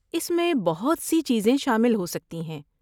اس میں بہت سی چیزیں شامل ہو سکتی ہیں